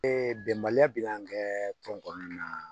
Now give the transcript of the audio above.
Ee bɛnbaliya bɛ an kɛ tɔn kɔnɔna na